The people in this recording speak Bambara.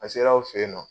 A ser'aw fe yen nɔ